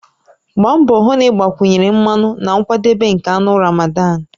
Gbaa mbọ hụ na ị gbakwunye mmanụ na nkwadebe nke anụ Ramadan